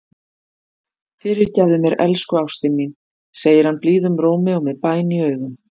Fyrirgefðu mér, elsku ástin mín, segir hann blíðum rómi og með bæn í augum.